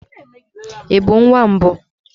Ị bụ nwa mbụ?